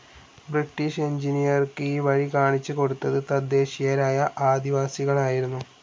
British എഞ്ചിനീയർക്ക് ഈ വഴി കാണിച്ച് കൊടുത്തത് തദ്ദേശീയരായ ആദിവാസികളായിരുന്നു.